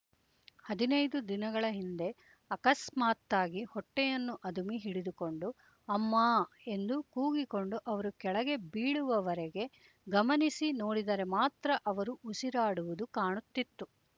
ಹದಿನೈದು ದಿನಗಳ ಹಿಂದೆ ಅಕಸ್ಮಾತ್ತಾಗಿ ಹೊಟ್ಟೆಯನ್ನು ಅದುಮಿ ಹಿಡಿದುಕೊಂಡು ಅಮ್ಮಾ ಎಂದು ಕೂಗಿಕೊಂಡು ಅವರು ಕೆಳಗೆ ಬೀಳುವವರೆಗೆ ಗಮನಿಸಿ ನೋಡಿದರೆ ಮಾತ್ರ ಅವರು ಉಸಿರಾಡುವುದು ಕಾಣುತ್ತಿತ್ತು